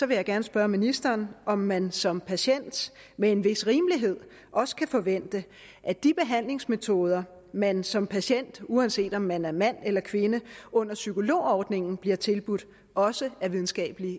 vil jeg gerne spørge ministeren om man som patient med en vis rimelighed også kan forvente at de behandlingsmetoder man som patient uanset om man er mand eller kvinde under psykologordningen bliver tilbudt også er videnskabeligt